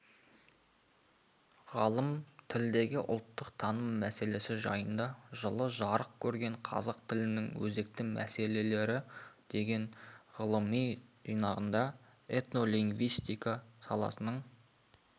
ғалым тілдегі ұлттық таным мәселесі жайында жылы жарық көрген қазақ тілінің өзекті мәселелері деген ғылыми жинағында этнолингвистика саласының